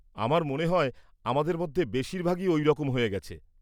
আমার মনে হয় আমাদের মধ্যে বেশিরভাগই ওই রকম হয়ে গেছে।